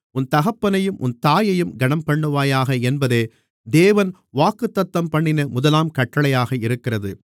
உன் தகப்பனையும் உன் தாயையும் கனம்பண்ணுவாயாக என்பதே தேவன் வாக்குத்தத்தம்பண்ணின முதலாம் கட்டளையாக இருக்கிறது